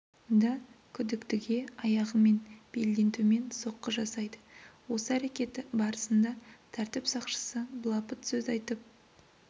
да күдіктіге аяғымен белден төмен соққы жасайды осы әрекеті барысында тәртіп сақшысы былапыт сөз айтып